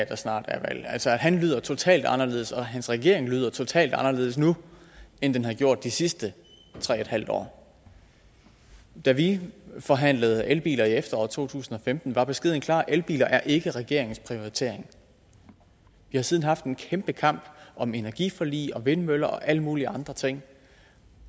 der snart er valg han lyder totalt anderledes og hans regering lyder totalt anderledes nu end den har gjort de sidste tre en halv år da vi forhandlede elbiler i efteråret to tusind og femten var beskeden klar elbiler er ikke regeringens prioritering vi har siden haft en kæmpe kamp om energiforlig og vindmøller og alle mulige andre ting